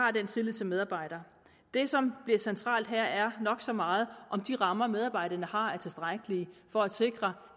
er den tillid til medarbejderne det som bliver centralt her er nok så meget om de rammer medarbejderne har er tilstrækkelige for at sikre